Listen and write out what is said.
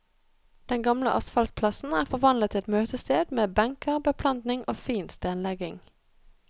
Den gamle asfaltplassen er forvandlet til et møtested med benker, beplantning og fin stenlegging.